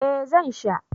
Eh zan sha